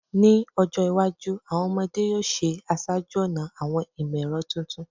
Ni ojo iwaju, awọn ọmọde yoo ṣe aṣáájú-ọnà awọn imọ-ẹrọ titun